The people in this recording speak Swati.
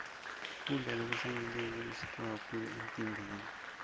kudla lokuhlanyeliwe kulusito kakhulu emtimbeni